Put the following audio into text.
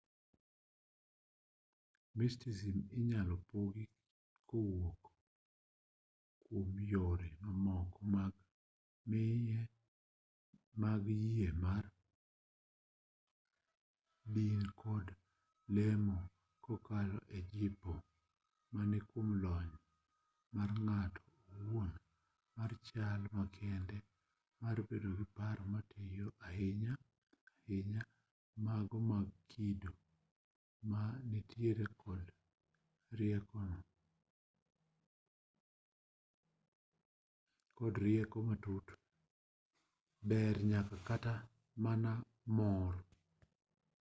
mysticism inyalo pogi kowuok kuom yore mamoko mag yie mar din to kod lemo kokalo e jipo mare kuom lony mar ng'ato owuon mar chal ma kende mar bedo gi paro matiyo maler ahinya ahinya mago mag kido ma nitiere kod rieko matut ber nyaka kata mana mor